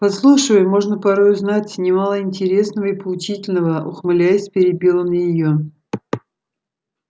подслушивая можно порой узнать немало интересного и поучительного ухмыляясь перебил он её